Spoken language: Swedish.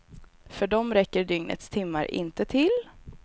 För dem räcker dygnets timmar inte till.